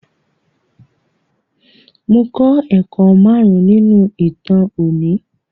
Mo klọ́ ẹ̀kọ́ márùn-ún nínú ìtàn òní.